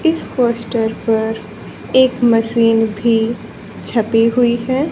इस पोस्टर पर एक मशीन भी छपी हुई है।